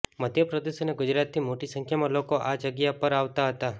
મધ્યપ્રદેશ અને ગુજરાતથી મોટી સંખ્યામાં લોકો આ જગ્યા પર આવતાં હતાં